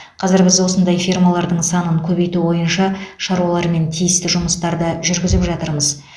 қазір біз осындай фермалардың санын көбейту бойынша шаруалармен тиісті жұмыстарды жүргізіп жатырмыз